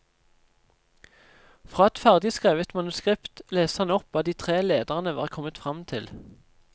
Fra et ferdigskrevet manuskript leste han opp hva de tre lederne var kommet frem til.